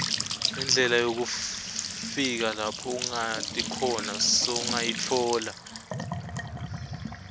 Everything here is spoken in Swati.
indlela yekufika lapho ungati khona sowungayitfola